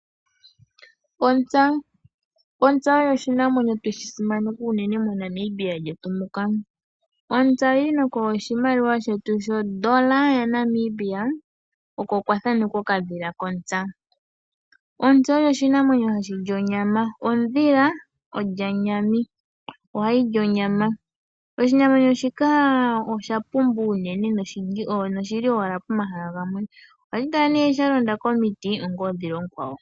Ontsa Ontsa oyo oshinamwenyo twe shi simaneka unene moNamibia lyetu muka. Ontsa oyi li nokoshimaliwa shetu shoN$ oko kwa thanekwa okadhila kontsa. Ontsa oyo oshinamwenyo hashi li onyama. Oshinamwenyo shika osha pumba unene noshi li owala pomahala gamwe. Ohashi kala sha londa komiti ngaashi oondhila oonkwawo.